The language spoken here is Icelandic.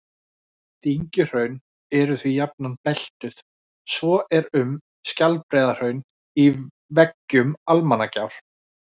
Dyngjuhraun eru því jafnan beltuð, svo er um Skjaldbreiðarhraun í veggjum Almannagjár.